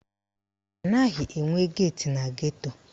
Anaghị enwe geeti na geto